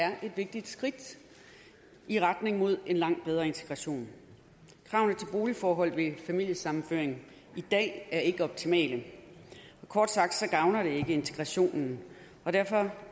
er et vigtigt skridt i retning mod en langt bedre integration kravene til boligforhold ved familiesammenføring i dag er ikke optimale kort sagt gavner det ikke integrationen og derfor